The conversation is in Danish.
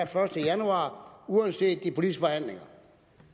første januar uanset